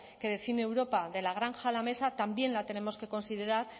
que define europa de la granja a la mesa también la tenemos que considerar